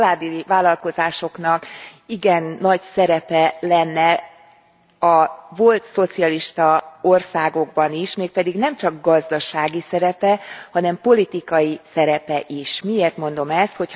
A családi vállalkozásoknak igen nagy szerepe lenne a volt szocialista országokban is, mégpedig nemcsak gazdasági szerepe, hanem politikai szerepe is. Miért mondom ezt?